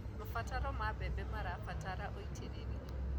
maciaro ma mbembe marabatara ũitiriri